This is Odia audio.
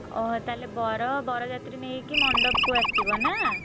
ଓହୋ ତାହେଲେ ବର ବରଯାତ୍ରୀ ନେଇକି ମଣ୍ଡପକୁ ଆସିବ ନା?